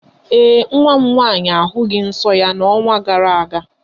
Ee, nwa m nwaanyị ahụghị nsọ ya n'ọnwa gara aga.